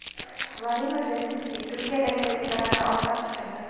Vladimir Zelenskiy Turkiyadagi restoranda ovqat pishirdi.